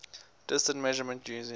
distance measurement using